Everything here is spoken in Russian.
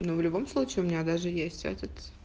ну в любом случае у меня даже есть этот